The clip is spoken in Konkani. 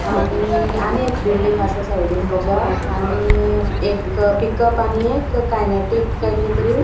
आणि आणि एक बिल्डिंग असा साइडिन ताच्या आणि एक पिकअप अणि एक कायनेटिक किते तरी --